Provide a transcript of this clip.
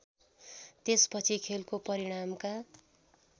त्यसपछि खेलको परिणामका